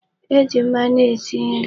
E ji mmanụ esi nri.